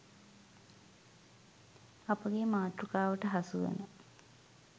අපගේ මාතෘකාවට හසුවන